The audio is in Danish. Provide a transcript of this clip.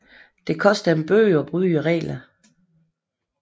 Det koster en bøde at bryde reglerne